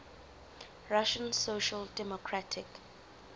russian social democratic